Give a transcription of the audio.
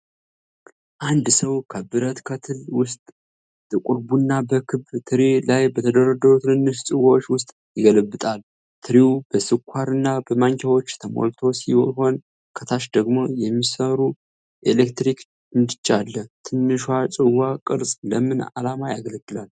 አንድ ሰው ከብረት ከትል ውስጥ ጥቁር ቡና በክብ ትሪ ላይ በተደረደሩ ትንንሽ ጽዋዎች ውስጥ ይገለብሳል። ትሪው በስኳር እና በማንኪያዎች ተሞልቶ ሲሆን፣ ከታች ደግሞ የሚሰራ የኤሌክትሪክ ምድጃ አለ። ትንሿ የጽዋ ቅርፅ ለምን ዓላማ ያገለግላል?